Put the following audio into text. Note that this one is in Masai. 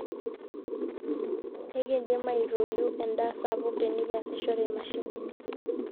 ekiindim aitoiu endaa sapuk tenekiasishore imashinini